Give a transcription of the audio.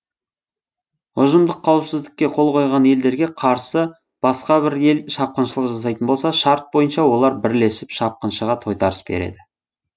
ұжымдық қауіпсіздікке қол қойған елдерге қарсы басқа бір ел шапқыншылық жасайтын болса шарт бойынша олар бірлесіп шапқыншыға тойтарыс береді